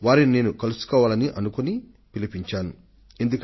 దీనిని జూన్ 22న ప్రయోగించడమైంది